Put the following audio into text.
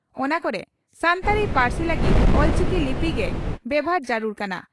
ᱚᱱᱟ ᱠᱚᱨᱮ ᱥᱟᱱᱛᱟᱲᱤ ᱯᱟᱹᱨᱥᱤ ᱞᱟᱹᱜᱤᱫ 'ᱚᱞᱪᱤᱠᱤ' ᱞᱤᱯᱤ ᱜᱮ ᱵᱮᱵᱷᱟᱨ ᱡᱟᱹᱨᱩᱲ ᱠᱟᱱᱟ ᱾